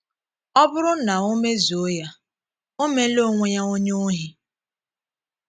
Ọ bụrụ na o mezuo ya, o meela onwe ya onye ohi.